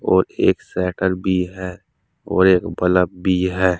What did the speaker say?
और एक सैटर भी है और एक बलब भी है।